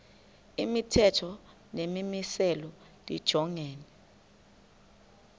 imithetho nemimiselo lijongene